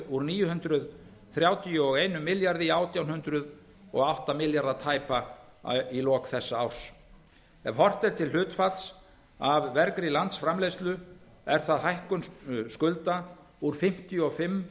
úr níu hundruð þrjátíu og einum milljarði í átján hundruð og átta milljarða tæpa í lok þessa árs ef horft er til hlutfalls af vergri landsframleiðslu er það hækkun skulda úr fimmtíu og fimm